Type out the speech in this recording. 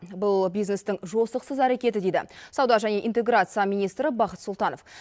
бұл бизнестің жосықсыз әрекеті дейді сауда және интеграция министрі бақыт сұлтанов